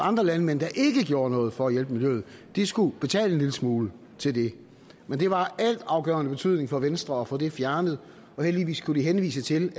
andre landmænd der ikke gjorde noget for at hjælpe miljøet skulle betale en lille smule til det men det var af altafgørende betydning for venstre at få det fjernet og heldigvis kunne de henvise til